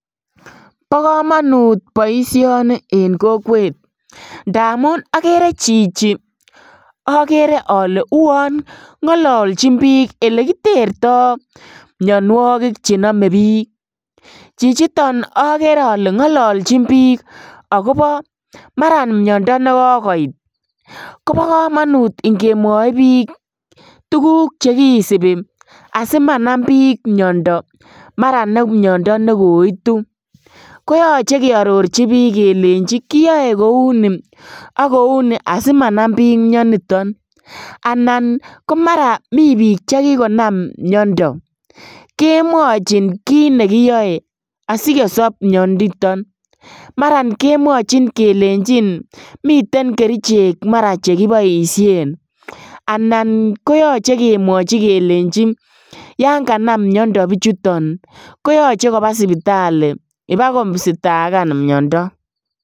Ba kamanut baishoni en kokwet ndamun akeree Chichi agere ale uwon ngolonchin bik elekitertoo mianwakik chename bik ,chichiton agere Kole ngolonjin bik akobo Mara miando nikokoit ko ba kamanut ingemwai bik tukuk chekisibi simanam bik miando mara ne miando nikoitu koyaache keyarorchi bik Kole yache keyae kouni akouni simanam bik miando niton anan komara mi bik chekikonam miando kemwachinbbik ki nekiyae asikosob miando niton mara kemwachin kelenchinmiten kerchek mara chekibaishen anan koyaache kemwachi kelenji yanganam miando bichutonbkoyache Koba sibitali wakositakan miando